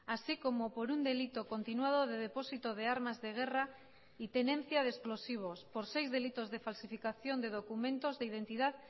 así como por un delito continuado de depósito de armas de guerra y tenencia de explosivos por seis delitos de falsificación de documentos de identidad